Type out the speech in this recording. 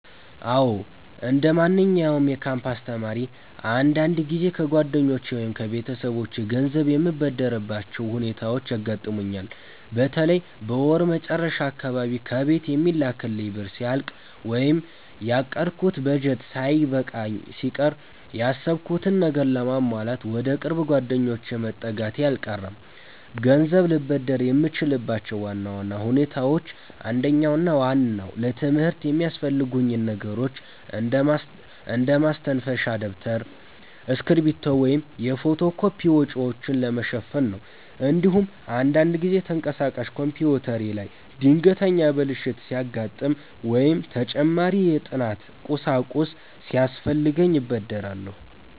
አዎ፣ እንደማንኛውም የካምፓስ ተማሪ አንዳንድ ጊዜ ከጓደኞቼ ወይም ከቤተሰቦቼ ገንዘብ የምበደርባቸው ሁኔታዎች ያጋጥሙኛል። በተለይ በወር መጨረሻ አካባቢ ከቤት የሚላክልኝ ብር ሲያልቅ ወይም ያቀድኩት በጀት ሳይበቃኝ ሲቀር፣ ያሰብኩትን ነገር ለማሟላት ወደ ቅርብ ጓደኞቼ መጠጋቴ አልቀረም። ገንዘብ ልበደር የምችልባቸው ዋና ዋና ሁኔታዎች አንደኛውና ዋናው ለትምህርት የሚያስፈልጉኝን ነገሮች እንደ ማስተንፈሻ ደብተር፣ እስክሪብቶ ወይም የፎቶ ኮፒ ወጪዎችን ለመሸፈን ነው። እንዲሁም አንዳንድ ጊዜ ተንቀሳቃሽ ኮምፒውተሬ ላይ ድንገተኛ ብልሽት ሲያጋጥም ወይም ተጨማሪ የጥናት ቁሳቁስ ሲያስፈልገኝ እበደራለሁ።